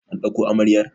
an dauko amaryar!